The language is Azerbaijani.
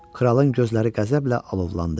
Kralın gözləri qəzəblə alovlandı.